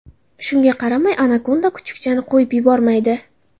Shunga qaramay anakonda kuchukchani qo‘yib yubormaydi.